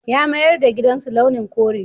Ya mayar da gidansu launin kore.